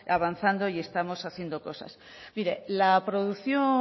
avanzando y estamos haciendo cosas mire la producción